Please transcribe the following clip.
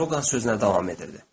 Drougan sözünə davam edirdi.